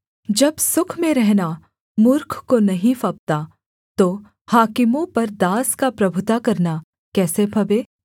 जब सुख में रहना मूर्ख को नहीं फबता तो हाकिमों पर दास का प्रभुता करना कैसे फबे